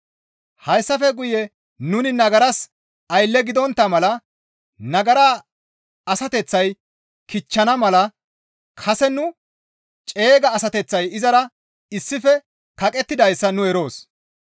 Hayssafe guye nuni nagaras aylle gidontta mala nagara asateththay kichchana mala kase nu ceega asateththay izara issife kaqettidayssa nu eroos.